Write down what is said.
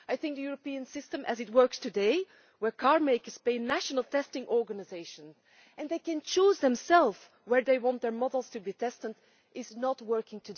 I think the European system as it is today, where car makers pay national testing organisations and they can choose themselves where they want their models to be tested, is not working.